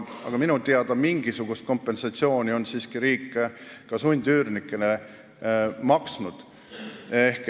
Minu teada mingisugust kompensatsiooni on riik siiski sundüürnikele maksnud.